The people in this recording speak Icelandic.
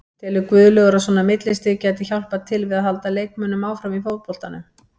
Telur Guðlaugur að svona millistig gæti hjálpað til við að halda leikmönnum áfram í fótboltanum?